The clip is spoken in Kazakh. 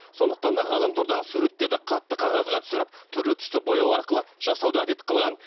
сондықтан да ғаламтордағы суреттерді қатты қағазға түсіріп түрлі түсті бояу арқылы жасауды әдет қылған